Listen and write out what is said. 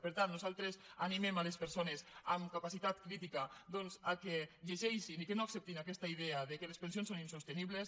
per tant nosaltres animem les persones amb capacitat crítica doncs que llegeixin i que no acceptin aquesta idea que les pensions són insostenibles